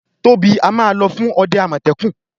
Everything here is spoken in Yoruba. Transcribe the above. Tobi a má ló fún òde amọtẹkun.